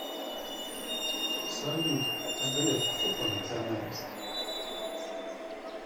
салют а греф кто по национальности